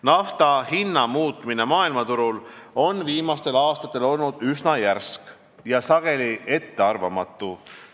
Nafta hinna muutumine maailmaturul on viimastel aastatel olnud üsna järsk ja sageli ettearvamatu.